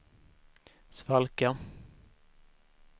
svalka